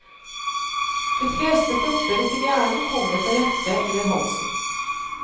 De fleste propper til hjernen kommer fra hjertet eller halsen.